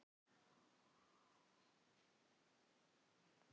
Samúðin með Kölska og jafnvel ryksugan dansar.